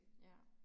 Ja